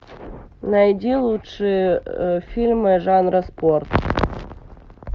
найди лучшие фильмы жанра спорт